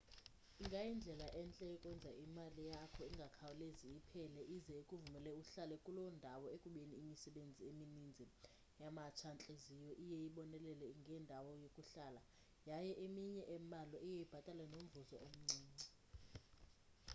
ingayindlela entle yokwenza imali yakho ingakhawulezi iphele ize ikuvumele uhlale kuloo ndawo ekubeni imisebenzi emininzi yamatsha-ntliziyo iye ibonelele ngendawo yokuhlala yaye eminye embalwa iye ibhatale nomvuzo omncinci